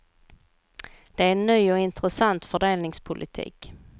Det är en ny och intressant fördelningspolitik.